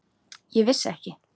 Ég vissi ekki.